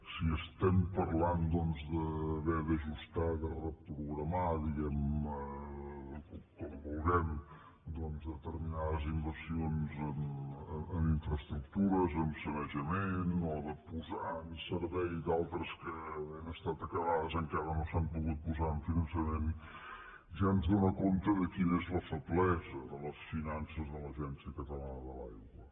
si estem parlant doncs d’haver d’ajustar de reprogramar diguem ne com vulguem determinades inversions amb infraestructures amb sanejament o de posar en servei d’altres que havent estat acabades encara no s’han pogut posar en finançament ja ens dóna compte de quina és la feblesa de les finances de l’agència catalana de l’aigua